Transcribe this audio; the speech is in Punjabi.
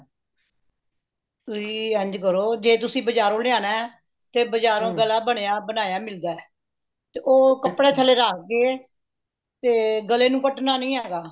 ਤੁਸੀਂ ਇੰਝ ਕਰੋ ਜੇ ਤੁਸੀਂ ਬਜਾਰੋਂ ਲਿਆਉਣਾ ਤੇ ਬਜਾਰੋਂ ਗਲਾ ਬਣਿਆ ਬਣਾਇਆ ਮਿਲਦਾ ਤੇ ਉਹ ਕੱਪੜੇ ਥੱਲੇ ਰੱਖ ਕੇ ਤੇ ਗਲੇ ਨੂੰ ਕੱਟਣਾ ਨਹੀਂ ਹੈਗਾ